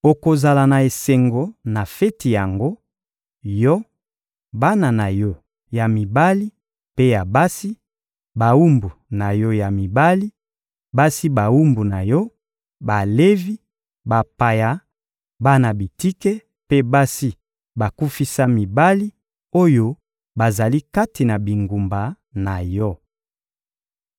Okozala na esengo na feti yango: yo, bana na yo ya mibali mpe ya basi, bawumbu na yo ya mibali, basi bawumbu na yo, Balevi, bapaya, bana bitike mpe basi bakufisa mibali oyo bazali kati na bingumba na yo.